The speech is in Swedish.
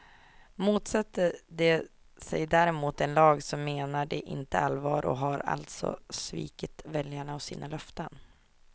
Motsätter de sig däremot en lag, så menar de inte allvar och har alltså svikit väljarna och sina löften.